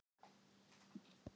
Efstadal